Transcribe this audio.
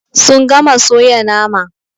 Sun gama soya nama.